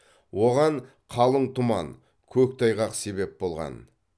оған қалың тұман көктайғақ себеп болған